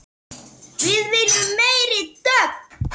Við viljum meiri dögg!